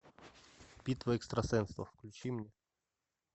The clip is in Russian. битва экстрасенсов включи мне